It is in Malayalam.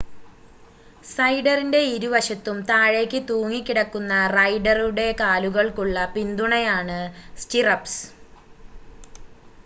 സൈഡറിൻ്റെ ഇരുവശത്തും താഴേയ്‌ക്ക് തൂങ്ങിക്കിടക്കുന്ന റൈഡറുടെ കാലുകൾക്കുള്ള പിന്തുണയാണ് സ്റ്റിറപ്പ്സ്